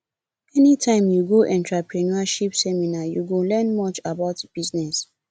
anytime you go entrepreneurship seminar you go learn much about business